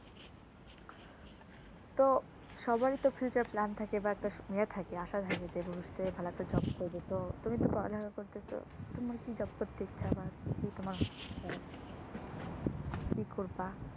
তো সবার এ তো future plan থাকে বা একটা ইয়ে থাকে মানে আশা থাকে যে ভবিষ্যতে ভালো একটা job করবে তুমি তো পড়াশোনা করতেছো তোমার কি job করতে ইচ্ছা তোমার হয় কি করবা?